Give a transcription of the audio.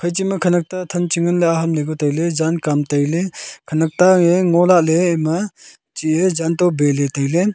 echi ma khonak ta than chingan le ahaamle ku taile jaan kaam taile khonak ta e ngola le emma chi eh jaan to bey le taile.